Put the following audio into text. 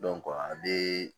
a bɛ